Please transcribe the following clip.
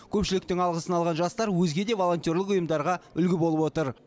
көпшіліктің алғысын алған жастар өзге де волонтерлік ұйымдарға үлгі болып отыр